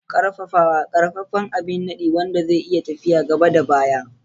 Ƙarfafawa: Ƙaƙƙarfan abin nadi wanda zai iya tafiya gaba da baya.